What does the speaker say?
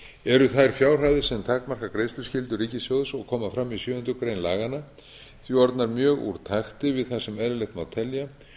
eru þær fjárhæðir sem takmarka greiðsluskyldu ríkissjóðs og koma fram í sjöundu grein laganna því orðnar mjög úr takti við það sem eðlilegt má telja